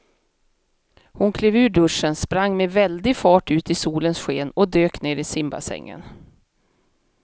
Hon klev ur duschen, sprang med väldig fart ut i solens sken och dök ner i simbassängen.